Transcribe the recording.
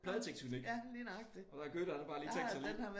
Pladetektonik og hvad Goethe han har bare lige tænkt så nu